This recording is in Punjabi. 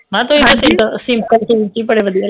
ਮੈਂ ਕਿਹਾ ਤੁਸੀਂ ਸਿੰਪਲ ਸੂਟ ਵਿਚ ਵੀ ਬੜੇ ਵਧੀਆ ਲੱਗਦੇ ਓ